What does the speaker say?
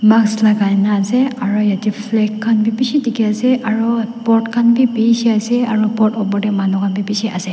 Mask lagai na ase aro yate flag khan bi beshi dekhi ase aro bort khan bi beshi ase aro bort upor te manu khan bi beshi ase.